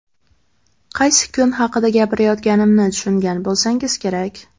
Qaysi kun haqida gapirayotganimni tushungan bo‘lsangiz kerak.